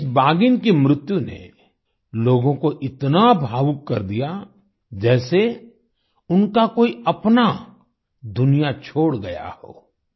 इस बाघिन की मृत्यु ने लोगों को इतना भावुक कर दिया जैसे उनका कोई अपना दुनिया छोड़ गया हो